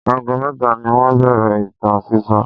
Ago mẹ́ta ni wọ́n bẹ̀rẹ̀ ìtàn sísọ.